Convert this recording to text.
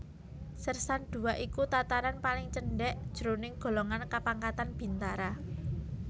Sèrsan Dua iku tataran paling cendhèk jroning golongan kapangkatan bintara